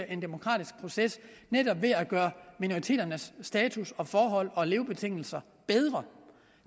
en demokratisk proces netop ved at gøre minoriteternes status og forhold og levebetingelser bedre